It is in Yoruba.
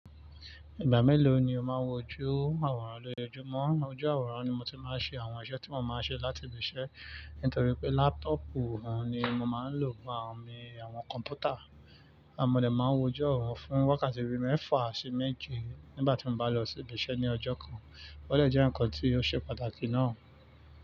Ìgbà mélòó ni o máa ń wọ ojú àwòrán lójoojúmọ́? Ojú àwòrán ni mo ti máa ń ṣe àwọn iṣẹ́ tí mo máa ń ṣe láti ibi iṣẹ́, nítorí pé lápútọ̀pù oun ni mo máa ń lò fun àwọn kọ̀m̀pútà, mọ́ dè máa ń wọ ojú àwòrán fún wákàtí bii mẹ́fà sí méje nígbà tí mo bá lọ sí ibi iṣẹ́ ní ọjọ́ kan. O dẹ̀ jẹ́ ǹkan tí ó ṣe pàtàkì náà.